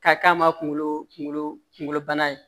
Ka k'a ma kunkolo kunkolo kunkolo bana ye